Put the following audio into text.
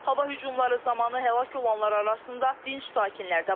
Hava hücumları zamanı həlak olanlar arasında dinc sakinlər də var.